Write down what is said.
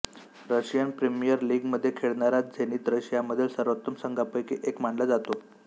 Russian premier लीगमध्ये खेळणारा Zenit रशियामधील सर्वोत्तम संघांपैकी एक मानला जातो